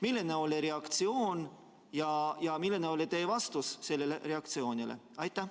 Milline oli reaktsioon ja milline oli teie vastus sellele reaktsioonile?